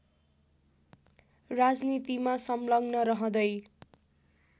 राजनीतिमा संलग्न रहँदै